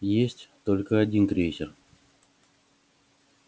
есть только один крейсер